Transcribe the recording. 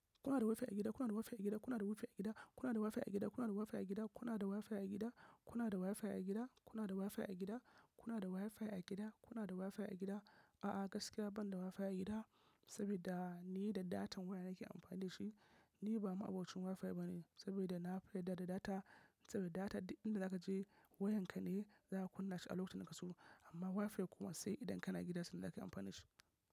Kuna da Wi-Fi a gida? Kuna da Wi-Fi a gida? Kuna da Wi-Fi a gida? Kuna da Wi-Fi a gida? Kuna da Wi-Fi a gida? Kuna da Wi-Fi a gida? Kuna da Wi-Fi a gida? Kuna da Wi-Fi a gida? Kuna da Wi-Fi a gida? A'a, gaskiya ban da Wi-Fi a gida. Saboda ni da datan waya nake amfani da shi. Ni ba ma'abocin Wi-Fi bane saboda na fi yarda da data. Saboda data duk inda zaka je wayan ka ne zaka kunna shi a lokacin da kake so. Amma Wi-Fi kuma sai idan kana gida sanda zakayi amfani da shi.